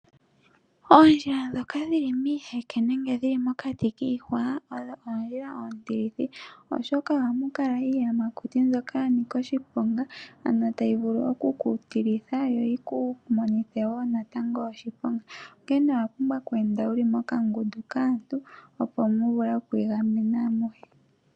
Oondjila ndhoka dhili miiheke nenge dhili mokati kiihwa, ohadhi kala oondjila oontilithi oshoka ohamu kala iiyamakuti mbyoka ya nika oshiponga, ano tayi vulu oku ku lokitha, yo yikupe etele natango oshiponga. Onkene owa pumbwa oku enda wuli mokangundu kaantu opo mu vule oku igamena amuhe.